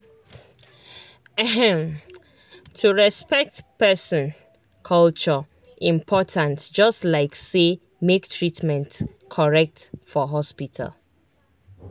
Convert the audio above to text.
ehm to respect person culture important just like say make treatment correct for hospital.